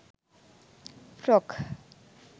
frock